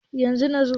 yanzu. na zo